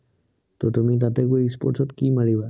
ত তুমি তাতে গৈ e-sports কি মাৰিবা?